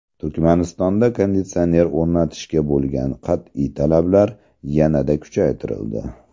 Turkmanistonda konditsioner o‘rnatishga bo‘lgan qat’iy talablar yanada kuchaytirildi.